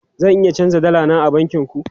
Zan iya canja dala na a bankin ku?